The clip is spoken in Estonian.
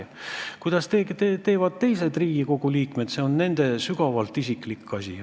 See, kuidas teised Riigikogu liikmed teevad, on nende sügavalt isiklik asi.